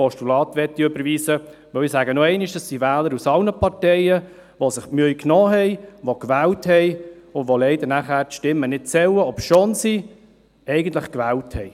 Es sind Wähler aus allen Parteien, die sich die Mühe gemacht und gewählt haben, deren Stimmen dann leider nicht zählen, obschon sie eigentlich gewählt haben.